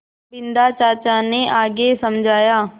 बिन्दा चाचा ने आगे समझाया